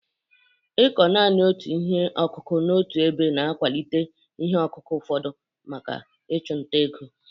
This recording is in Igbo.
Ịkọ naanị otu ihe akụkụ n'otu ebe na-akwalite ihe ọkụkụ ụfọdụ maka ịchụ nta ego.